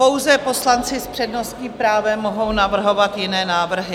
Pouze poslanci s přednostním právem mohou navrhovat jiné návrhy.